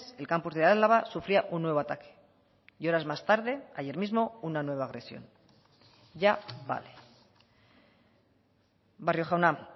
el campus de álava sufría un nuevo ataque y horas más tarde ayer mismo una nueva agresión ya vale barrio jauna